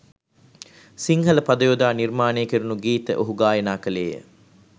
සිංහල පද යොදා නිර්මාණය කෙරුණු ගීත ඔහු ගායනා ක‍ළේය